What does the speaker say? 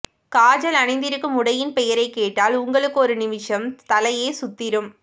காஜல் அணிந்திருக்கும் உடையின் பெயரை கேட்டால் உங்களுக்கு ஒரு நிமிஷம் தலையே சுத்திரும்